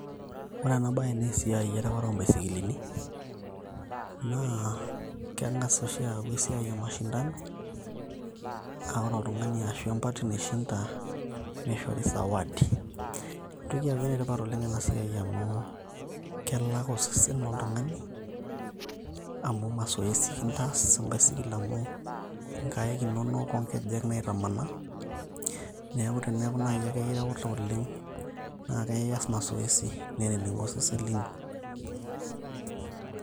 ore ena bae naa siai ereware ombaisikilini naa kengas oshi aaku esiai e mashindano ,naa ore oltungani ashu empati naishinda nishori sawadi . entoki etipat ena siai amu , kelak osesen oltungani amu masoesi kintaas embaisikil amu nkaik inonok onkejek naitamanaa.